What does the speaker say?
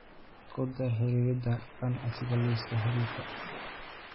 ku dar xiriirada ganacsiga liiska xiriirka